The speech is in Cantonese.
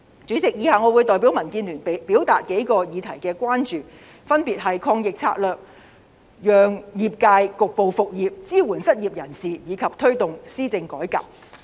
主席，以下我會代表民建聯表達數個議題的關注，分別是抗疫策略、讓業界局部復業、支援失業人士及推動施政改革。